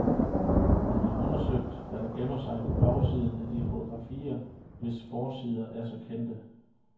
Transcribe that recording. Hun har undersøgt, hvad der gemmer sig på bagsiden af de fotografier, hvis forsider er så kendte.